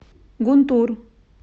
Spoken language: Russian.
гунтур